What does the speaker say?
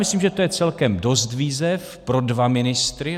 Myslím, že to je celkem dost výzev pro dva ministry.